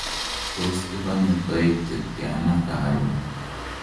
tos ikonye toek che tyana karon?